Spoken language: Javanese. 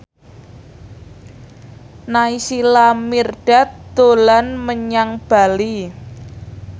Naysila Mirdad dolan menyang Bali